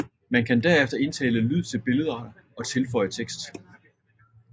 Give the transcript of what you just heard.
Man kan derefter indtale lyd til billederne og tilføje tekst